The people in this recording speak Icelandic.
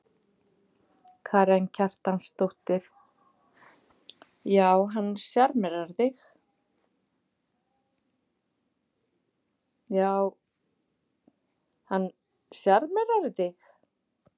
Karen Kjartansdóttir: Já hann sjarmerar þig?